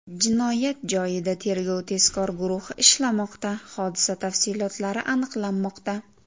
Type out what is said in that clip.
Jinoyat joyida tergov-tezkor guruhi ishlamoqda, hodisa tafsilotlari aniqlanmoqda.